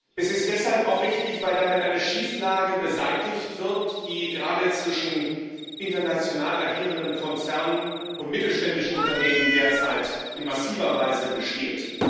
Es ist auch deshalb richtig, weil damit eine Schieflage beseitigt wird, die derzeit gerade zwischen international agierenden Konzernen und mittelständischen Unternehmen in massiver Weise besteht.